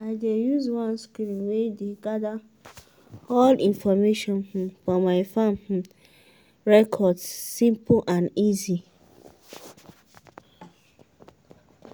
i dey use one screen way dey gather all info um for my farm um records simple and easy.